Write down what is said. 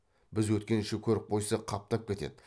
біз өткенше көріп қойса қаптап кетеді